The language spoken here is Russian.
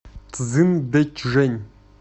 цзиндэчжэнь